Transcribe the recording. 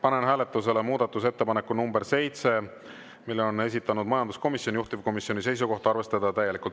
Panen hääletusele muudatusettepaneku nr 7, mille on esitanud majanduskomisjon, juhtivkomisjoni seisukoht: arvestada täielikult.